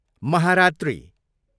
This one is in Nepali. महारात्री